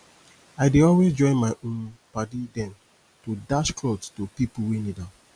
i dey always join my um paddy dem to dash clot to pipu wey need am